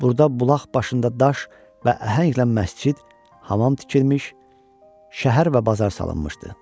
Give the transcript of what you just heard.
Burda bulaq başında daş və əhənglə məscid, hamam tikilmiş, şəhər və bazar salınmışdı.